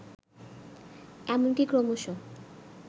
এমনকি ক্রমশ